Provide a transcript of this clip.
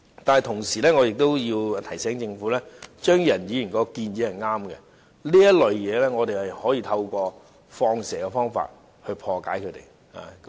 但同時，我要提醒政府，張宇人議員的建議是對的，我們可以透過"放蛇"來破解這種情況。